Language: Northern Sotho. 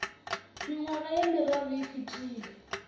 mengwaga ye meraro e fetile